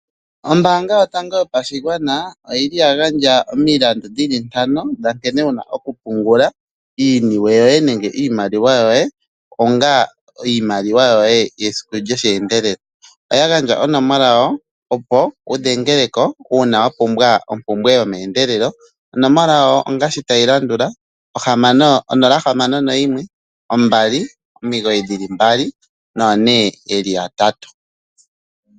Ombaanga yotango yopashigwana oya gandja omilandu dhi li ntano dha nkene wu na okupungula iiniwe yoye nenge iimaliwa, onga iimaliwa yoye yesiku lyosheendelela. Oya gandja onomola yawo, opo wu dhengele ko uuna wu na ompumbwe yomeendelelo. Onomola yawo ongaashi tayi landula: 061 2992222.